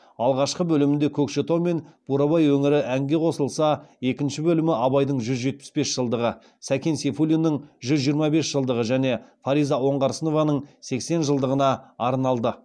алғашқы бөлімінде көкшетау мен бурабай өңірі әңге қосылса екінші бөлімі абайдың жүз жетпіс бес жылдығы сәкен сейфуллиннің жүз жиырма бес жылдығы және фариза оңғарсынованың сексен жылдығына арналды